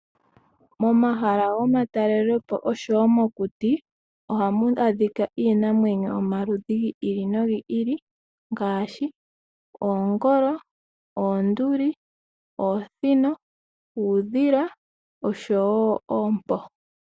Momahala gomatalelepo oshowoo mokuti ohamu adhika iinamwenyo yomaludhi giili nogiili ngaashi oongolo , oonduli, oosino, uudhila oshowoo oompo.